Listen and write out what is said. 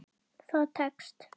Það tekst.